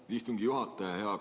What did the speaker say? Aitäh, istungi juhataja!